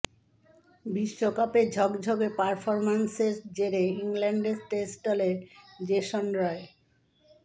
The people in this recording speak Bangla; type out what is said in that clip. বিশ্বকাপে ঝকঝকে পারফরম্যান্সের জেরে ইংল্যান্ডের টেস্ট দলে জেসন রয়